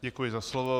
Děkuji za slovo.